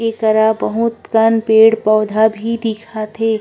ए केरा बहुत कन पेड़ पौधा भी दिखत हे।